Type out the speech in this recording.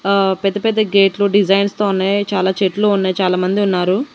ఆ పెద్దపెద్ద గేట్లు డిజైన్స్ తో ఉన్నాయి చాలా చెట్లు ఉన్నాయి చాలా మంది ఉన్నారు.